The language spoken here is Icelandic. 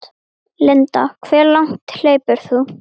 Linda: Hve langt hleypur þú?